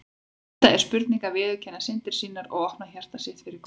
Þetta er spurning um að viðurkenna syndir sínar og opna hjarta sitt fyrir Guði.